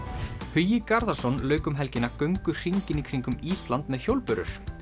Hugi Garðarsson lauk um helgina göngu hringinn í kringum Ísland með hjólbörur